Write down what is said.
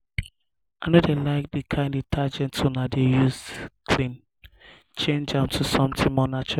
i no dey like the kin detergent una dey use clean change am to something more natural